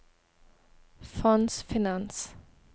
fondsfinans